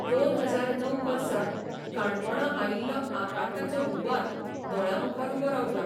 दोन हजार णव वर्सा काणकोणां आयिल्लो आकांताचो हुंवार दोळ्यांमुखार उबो राबता.